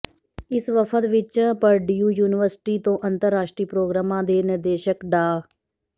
ਇਸ ਵਫ਼ਦ ਵਿੱਚ ਪਰਡਿਊ ਯੂਨੀਵਰਸਿਟੀ ਤੋਂ ਅੰਤਰਰਾਸ਼ਟਰੀ ਪ੍ਰੋਗਰਾਮਾਂ ਦੇ ਨਿਰਦੇਸ਼ਕ ਡਾ